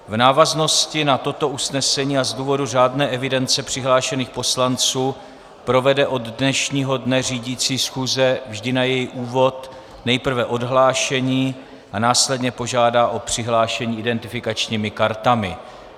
V návaznosti na toto usnesení a z důvodu řádné evidence přihlášených poslanců provede od dnešního dne řídící schůze vždy na její úvod nejprve odhlášení a následně požádá o přihlášení identifikačními kartami.